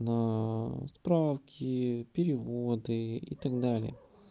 справки переводы и так далее